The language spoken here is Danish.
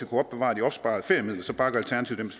kunne opbevare de opsparede feriemidler så bakker alternativet